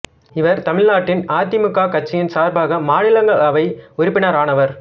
இவர் தமிழ்நாட்டின் அதிமுக கட்சியின் சார்பாக மாநிலங்களவை உறுப்பினர் ஆனவர்